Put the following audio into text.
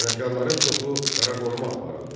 Sənətkarların çoxu qara qoruğa aparıldı.